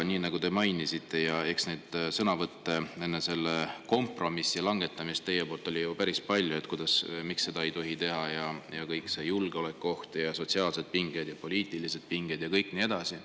Nii nagu te mainisite, neid teie sõnavõtte enne selle kompromissi langetamist oli päris palju, et miks seda ei tohi teha: kõik see julgeolekuoht ja sotsiaalsed pinged ja poliitilised pinged ja nii edasi.